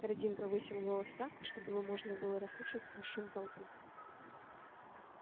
хардин повысил голос так чтобы его можно было расслышать сквозь шум толпы